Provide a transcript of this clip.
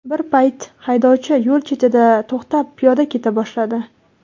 Bir payt haydovchi yo‘l chetida, to‘xtab, piyoda keta boshladi.